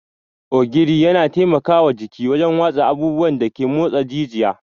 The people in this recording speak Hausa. Ogiri yana taimaka wa jiki wajen watsa abubuwan da ke motsa jijiya.